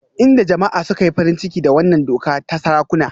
Inda jama'a suka yi farin ciki da wannan doka ta sarakuna